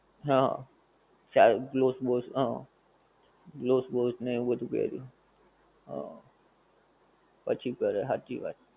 હં. gloves boss હં, gloves boss ને એવું બધુ પેરે. હં પછી કરે હાંચી વાત.